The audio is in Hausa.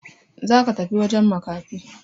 Za ka tafi wajen makafi!